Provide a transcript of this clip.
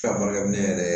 barakɛminɛ yɛrɛ